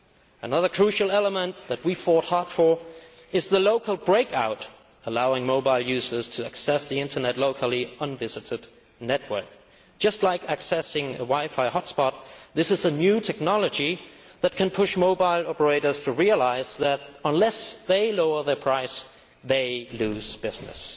Another crucial element that we fought hard for is the local break out, allowing mobile users to access the Internet locally on a visited network just like accessing a wi fi hot spot. This is a new technology which can persuade mobile operators to realise that, unless they lower their prices, they will lose business.